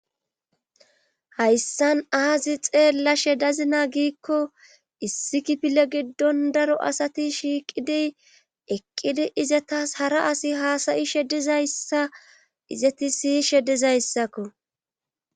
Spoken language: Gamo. Hayssan aazi xeella shedazina giikko issi kipile giddon daro asati shiiqidiy eqqidi izatas hara asi haasayi shedizayssa izati siyishe dizayssakko.